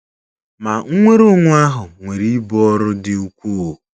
Ma nnwere onwe ahụ nwere ibu ọrụ dị ukwuu.